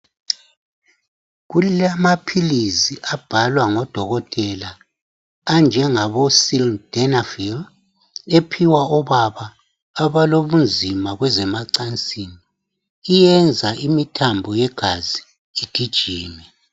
Kulamaphilisi abhalwa ngodokotela anjengabo Sildenafil ephiwa obaba abalobunzima kwezemacansini, iyenza imithambo yegazi igijime